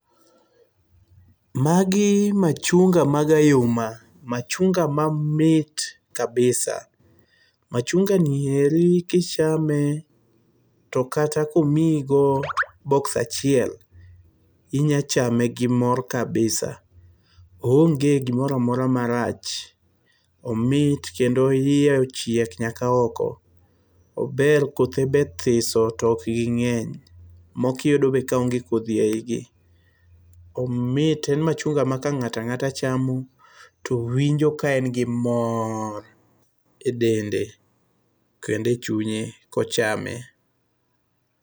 Magi machunga mag ayuma. Machunga mamit kabisa. Machunga ni eri kichame to kata komiyigo box achiel, inya chame gi mor kabisa. Oonge gimoro amora marach. Omit kendo iye ochiek nyaka oko. Ober kothe be thiso to ok ging'eny. Moko iyudo be kaonge kodhi e igi. Omit, en machunga ma ka ng'ato ang'ata chamo to winjo ka en gi mor e dende kendo e chunye kochame.